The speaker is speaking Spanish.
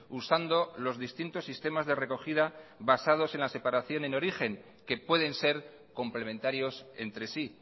usando los distintos sistemas de recogida basados en la separación en origen que pueden ser complementarios entre sí